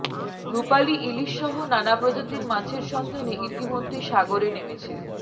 রূপালি ইলিশসহ নানা প্রজাতির মাছের সন্ধানে ইতিমধ্যে সাগরে নেমেছে